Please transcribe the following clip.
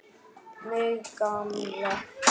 Mig gamla.